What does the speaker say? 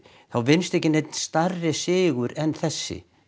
þá vinnst enginn stærri sigur en þessi